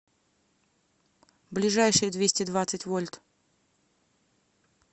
ближайший двести двадцать вольт